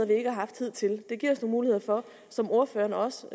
vi ikke har haft hidtil det giver os nogle muligheder for som ordføreren også